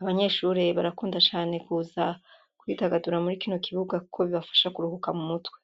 abanyeshure barakunda cane kuza kw'idagadura muri kino kibuga kuko bibafasha kuruhuka mu mutwe.